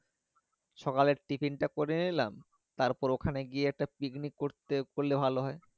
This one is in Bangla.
সকালে tiffin টা করে নিলাম তারপর ওখানে গিয়ে একটা picnic করতে করলে ভালো হয়